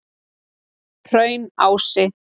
Hraunási